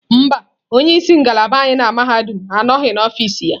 Mba, onye isi ngalaba anyị na mahadum anọghị n'ọfịs ya.